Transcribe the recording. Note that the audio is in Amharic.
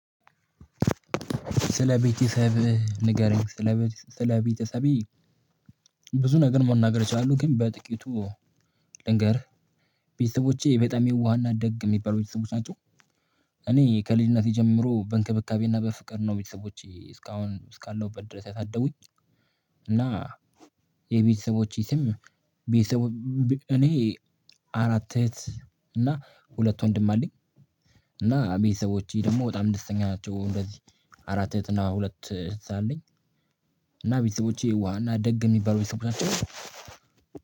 ስለ ቤተሰብህ ንገረኝ ስለ ስለ ቤተሰቤ ብዙ ነገር መናገር እችላሉ ግን በጥቂቱ ልንገርህ ቤተሰቦቼ የጣም የዋሃና ደግ የሚባለው ቤተሰቦች ናቸው። እኔ ከልጅነቴ ጀምሮ በእንክብካቤና በፍቅር ነው ቤተሰቦቼ እስካሁን እስካለሁበት ድረስ ያሳደጉኝ። እና የቤተሰቦቼ ስም ቤተሰቦቼ እኔ አራት እህት እና ሁለት ወንድም አለኝ። እና ቤተሰቦቼ ደግሞ በጣም ደስተኛ ናቸው። እንደዚህ አራት እህት እና ሁለት እህት አለኝ። እና ቤተሰቦቼ የዋሃ እና ደግ የሚባለው ቤተሰቦቻችን ናቸው።